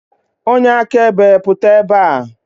Onye akaebe pụta ebe a!